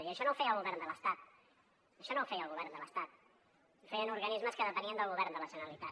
i això no ho feia el govern de l’estat això no ho feia el govern de l’estat ho feien organismes que depenien del govern de la generalitat